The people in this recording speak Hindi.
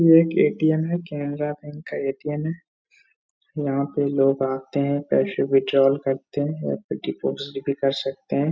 ये एक ए.टी.एम. है। कैनरा बैंक का ए.टी.एम. है। यहाँ पे आते हैं पैसे विथड्राल करते हैं। यहाँ पे डिपॉजिट भी कर सकते हैं।